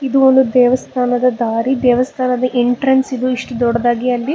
ಇದು ಒಂದು ದೇವಸ್ಥಾನದ ದಾರಿ ದೇವಸ್ಥಾನದ ಎಂಟ್ರನ್ಸ್ ಗು ಇಷ್ಟ ದೊಡ್ಡದಾಗಿ ಅಲ್ಲಿ--